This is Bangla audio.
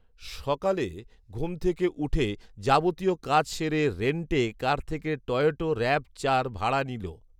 সকালে ঘুম থেকে উঠে যাবতীয় কাজ সেরে রেন্ট এ কার থেকে টয়োটা র‍্যাভ চার ভাড়া নিল